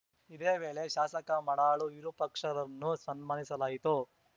ಇದೇ ವೇಳೆ ಶಾಸಕ ಮಾಡಾಳು ವಿರೂಪಾಕ್ಷರನ್ನು ಸನ್ಮಾನಿಸಲಾಯಿತು